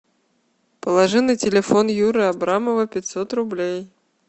положи на телефон юры абрамова пятьсот рублей